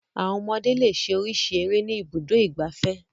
Àwọn ọmọdé le ṣe oríṣiríṣi eré ní Ibùdó-ìgbafẹ́.